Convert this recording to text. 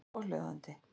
Hið fyrra svohljóðandi